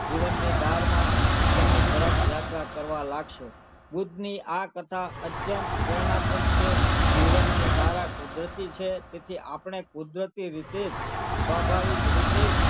જીવનની ધારમાં ઉપરની તરફ યાત્રા કરવા લાગશે બુદ્ધની આ કથા અત્યંત પ્રેરણાપૃત છે જીવનની ધારા કુદરતી છે તેથી આપણે કુદરતી રીતે જ સ્વાભાવિક રીતે જ,